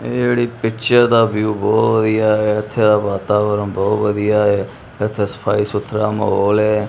ਇਹ ਜਿਹੜੀ ਪਿੱਚਰ ਦਾ ਵਿਊ ਬਹੁਤ ਵਧੀਆ ਐ ਇੱਥੇ ਦਾ ਵਾਤਾਵਰਨ ਬਹੁਤ ਵਧੀਆ ਹੈ ਇੱਥੇ ਸਫਾਈ ਸੁਥਰਾ ਮਾਹੌਲ ਐ।